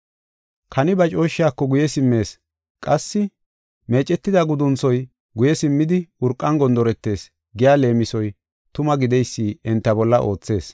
“Kani ba cooshshaako guye simmees” qassi, “Meecetida gudunthoy guye simmidi urqan gondoretees” giya leemisoy tuma gideysi enta bolla oothees.